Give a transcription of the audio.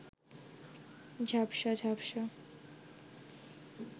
ঝাপসা ঝাপসা